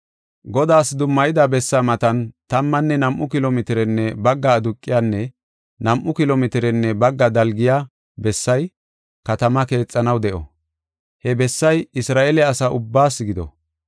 “Godaas dummayida bessaa matan tammanne nam7u kilo mitirenne bagga aduqiyanne nam7u kilo mitirenne bagga dalgiya bessay katamaa keexanaw de7o; he bessay Isra7eele asa ubbaas gido.